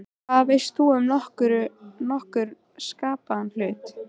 Hvað veist þú um nokkurn skapaðan hlut!?